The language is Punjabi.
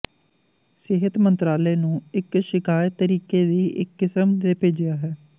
ਸਿਹਤ ਮੰਤਰਾਲੇ ਨੂੰ ਇੱਕ ਸ਼ਿਕਾਇਤ ਤਰੀਕੇ ਦੀ ਇੱਕ ਕਿਸਮ ਦੇ ਭੇਜਿਆ ਹੈ